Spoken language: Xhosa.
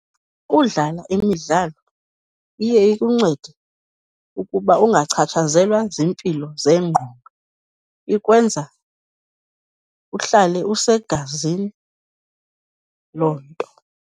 Kudlala imidlalo iye ikuncede ukuba ungachatshazelwa ziimpilo zengqondo. Ikwenza uhlale usegazini loo nto.